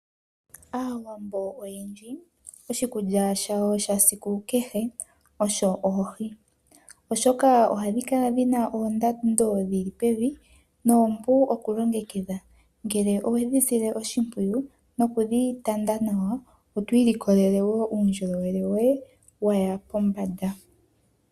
Aawambo oyendji oshikulya shawo shasiku keshe osho oohi oshoka ohadhi kala ndhina oondando dhili pevi noompu okulongekidha ngele owedhi sile oshimpwiyu nokudhi tanda nawa otwiilikolele uundjolowele woye waya pombanda.